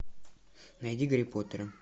найди гарри поттера